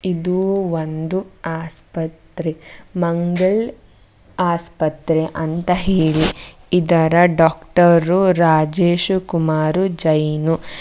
ಇದು ಒಂದು ಆಸ್ಪತ್ರೆ ಮಂಗಲ್ ಆಸ್ಪತ್ರೆ ಅಂತ ಹೇಳಿ ಇದರ ಡಾಕ್ಟರು ರಾಜೇಶು ಕುಮಾರು ಜೈನ್.